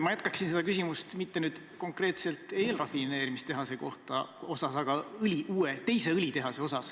Ma jätkan seda küsimust mitte küsides konkreetselt eelrafineerimistehase kohta, vaid teise õlitehase kohta.